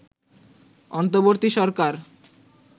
অন্তবর্তী সরকার